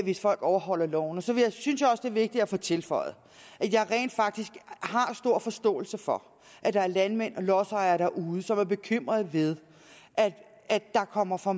hvis folk overholder loven så synes jeg også det er vigtigt at få tilføjet at jeg rent faktisk har stor forståelse for at der er landmænd og lodsejere derude som er bekymrede ved at der kommer for